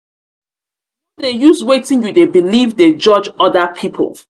no dey use wetin you dey beliv dey judge other pipu.